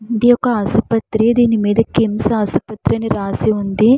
ఇది ఒక ఆసుపత్రి. దీని మీద కిమ్స్ ఆసుపత్రి అని రాసి ఉంది.